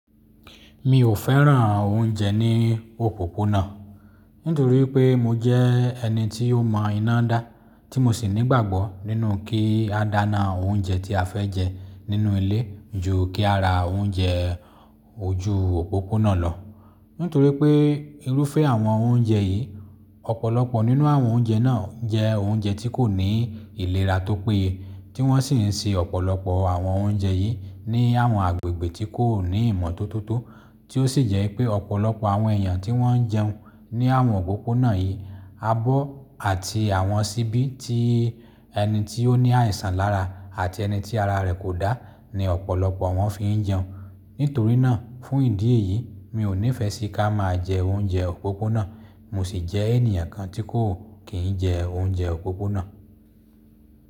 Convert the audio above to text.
Mi ò fẹ́ràn oúnjẹ ní òpópónà, nítorí pé mo jẹ́ ẹni tí ó mọ iná dá, tí mo sì nígbàgbọ́ nínú kí a dáná oúnjẹ tí a fẹ́ jẹ nínú ilé ju kí a ra oúnjẹ ojú òpópónà lọ. Nítorí pé irúfẹ́ àwọn oúnjẹ yìí, ọ̀pọ̀lọpọ̀ nínú àwọn oúnjẹ náà jẹ́ oúnjẹ tí kò ní ìlera tó péye, tí wọ́n sì ń se ọ̀pọ̀lọpọ̀ àwọn oúnjẹ yìí ní àwọn agbègbè tí kò ní ìmọ́tótó tí ó sì jẹ́ pé ọ̀pọ̀lọpọ̀ àwọn èèyàn tí wọ́n jẹun ní àwọn òpópónà yìí, abọ́ àti àwọn ṣíbí tí ẹni tí ó ní àìsàn lára àti ẹni tí ara rẹ̀ kò dá ni ọ̀pọ̀lọpọ̀ wọn fi ń jẹun. Nítorí náà, fún ìdí èyí mi ò nífẹẹ sí ká máa jẹ oúnjẹ òpópónà, mo sì jẹ́ ènìyàn kan tí kò kì í jẹ oúnjẹ òpópónà.